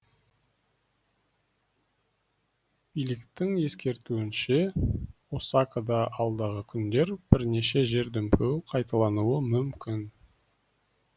биліктің ескертуінше осакада алдағы күндері бірнеше жер дүмпуі қайталануы мүмкін